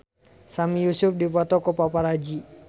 Sami Yusuf dipoto ku paparazi